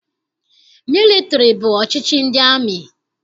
Mịlịtịrị bụ ọchịchị ndị amị.